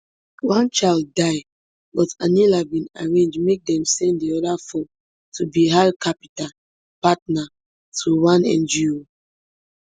one child die but anila bin arrange make dem send di oda four to bihar capital patna to one ngo